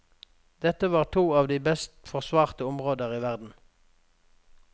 Dette var to av de best forsvarte områder i verden.